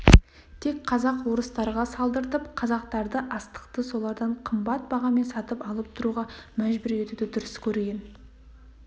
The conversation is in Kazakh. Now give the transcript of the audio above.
тек казак-орыстарға салдыртып қазақтарды астықты солардан қымбат бағамен сатып алып тұруға мәжбүр етуді дұрыс көрген